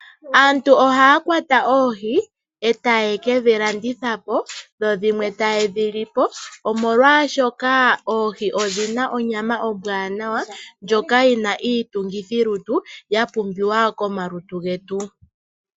Aantu ohaya kwata oohi etaye kedhi landitha po dho dhimwe taye dhilipo omolwashoka ohii odhina onyama ombwanawa ndjoka yiina iitungithi lutu yapumbiwa komalutu getu.